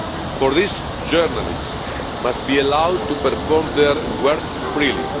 For this, journalists must be allowed to perform their work freely.